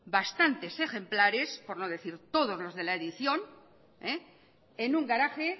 bastantes ejemplares por no decir todos los de la edición en un garaje